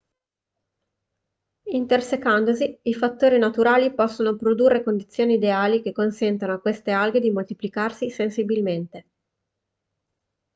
intersecandosi i fattori naturali possono produrre condizioni ideali che consentono a queste alghe di moltiplicarsi sensibilmente